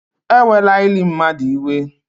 Ewela ili mmadụ iwe